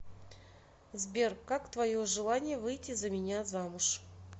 сбер как твое желание выйти за меня замуж